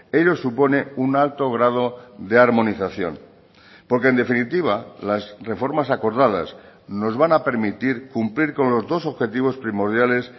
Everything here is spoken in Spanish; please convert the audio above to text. ello supone un alto grado de armonización porque en definitiva las reformas acordadas nos van a permitir cumplir con los dos objetivos primordiales